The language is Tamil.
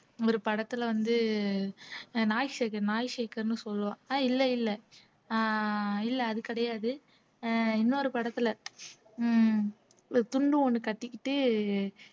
ஒரு படத்துல வந்து நாய் சேகர் நாய் சேகர்ன்னு சொல்லுவான் அஹ் இல்ல இல்ல அஹ் இல்ல அது கிடையாது அஹ் இன்னொரு படத்துல உம் ஒரு துண்டு ஒண்ணு கட்டிக்கிட்டு